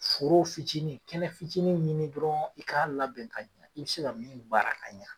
Foro fitinin kɛnɛ fitinin ɲini dɔrɔn i k'a labɛn ka ɲa i bɛ se ka min baara ka ɲa.